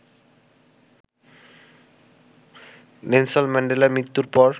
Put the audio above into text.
Nelson ম্যান্ডেলার মৃত্যুর পর